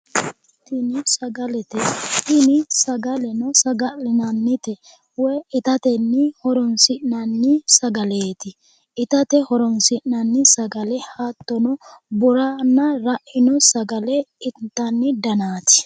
tini sagalete tini sagaleno saga'linannite woy itate horonsi'nanni sagaleeti itate horonsi'nanni sagale hattono buranna raino sagale intanni danaati.